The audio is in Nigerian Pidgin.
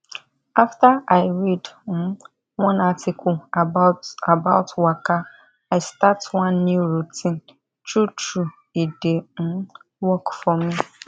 after i read um one article about about waka i start one new routine true true e dey um work for me